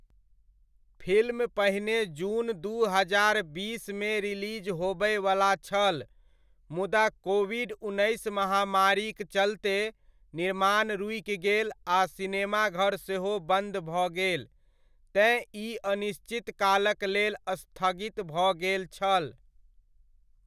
Film पहिने जून दू हजार बीसमे रिलिज होबयवला छल मुदा, कोविड उन्नैस महामारीक चलते निर्माण रुकि गेल आ सिनेमाघर सेहो बन्द भऽ गेल तेँ ई अनिश्चित कालक लेल स्थगित भऽ गेल छल।